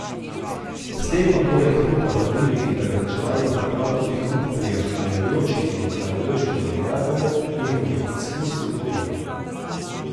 S tem pa poleg hrupa hladilnih in prezračevalnih naprav tudi hrup prihajajočih in odhajajočih tovornjakov, njihovi izpusti v okolje.